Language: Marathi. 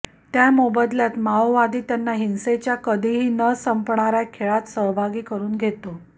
त्या मोबदल्यात माओवादी त्यांना हिंसेच्या कधीही न संपणाऱ्या खेळात सहभागी करून घेतो